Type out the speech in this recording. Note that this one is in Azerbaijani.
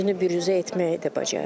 Özünü büruzə etməyi də bacarır.